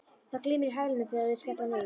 Það glymur í hælunum þegar þeir skella niður.